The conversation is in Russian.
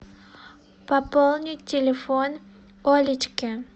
пополнить телефон олечке